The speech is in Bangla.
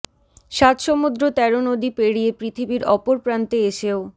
সাত সমুদ্র তেরো নদী পেড়িয়ে পৃথিবীর অপর প্রান্তে এসেও